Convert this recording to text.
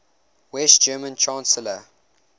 west german chancellor